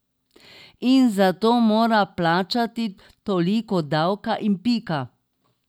In zato mora plačati toliko davka in pika.